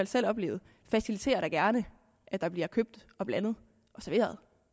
selv oplevet faciliterer da gerne at der bliver købt og blandet og serveret